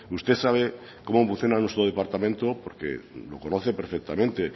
usted sabe cómo funciona nuestro departamento porque lo conoce perfectamente